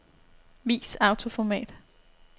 Vis autoformat.